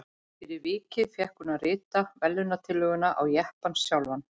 Fyrir vikið fékk hún að rita verðlaunatillöguna á jeppann sjálfan.